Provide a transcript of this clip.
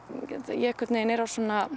ég er á